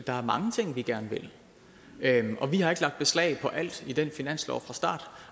er mange ting vi gerne vil og vi har ikke lagt beslag på alt i den finanslov fra start